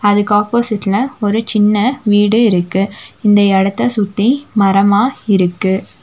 அதுக்கு ஆப்போசிட்ல ஒரு சின்ன வீடு இருக்கு இந்த எடத்த சுத்தி மரமா இருக்கு.